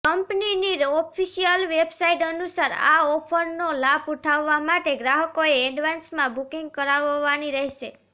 કંપનીની official website અનુસાર આ ઑફરનો લાભ ઉઠાવવા માટે ગ્રાહકોએ એડવાન્સમાં બુકિંગ કરાવવાની રહેશે